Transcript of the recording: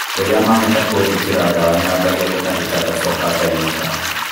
Rĩrĩa mahota kũnjekera ndawa nyambagia gũtahĩka ngacoka ngainũka